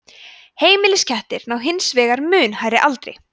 heimiliskettir ná hins vegar mun hærri aldri